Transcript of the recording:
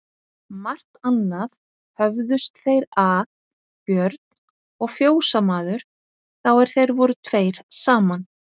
Margt annað höfðust þeir að Björn og fjósamaður, þá er þeir voru tveir saman.